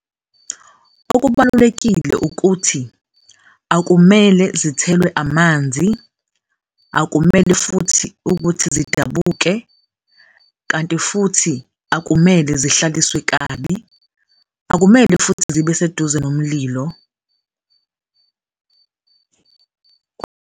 Okubalulekile ukuthi akumele zithelwe amanzi, akumele futhi ukuthi zidabuke kanti futhi akumele zihlaliswe kabi, akumele futhi zibe seduze nomlilo.